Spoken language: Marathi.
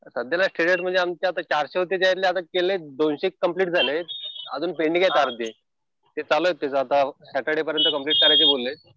सध्याला स्टेटस म्हणजे आमचे आता चारशे वरती केले. दोनशे कम्प्लिट झाले. अजून पेंडिंग आहे चारशे. ते चालू आहेत. आता साटर्डे पर्यंत कम्प्लिट करायचं बोलले.